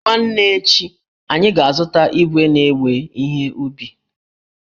Nwanne echi, anyị ga-azụta igwe na-ewe ihe ubi